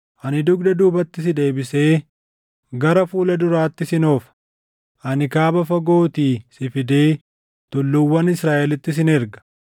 Ani dugda duubatti si deebisee gara fuula duraatti sin oofa. Ani kaaba fagootii si fidee tulluuwwan Israaʼelitti sin erga.